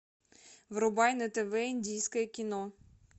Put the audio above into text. врубай на тв индийское кино